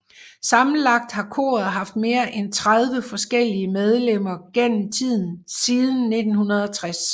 Sammenlagt har koret haft mere end 30 forskellige medlemmer gennem tiden siden 1960